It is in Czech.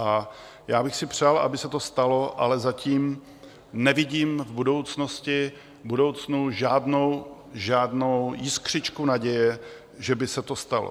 A já bych si přál, aby se to stalo, ale zatím nevidím v budoucnu žádnou jiskřičku naděje, že by se to stalo.